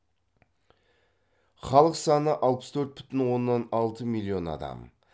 халық саны алпыс төрт бүтін оннан алты миллион адам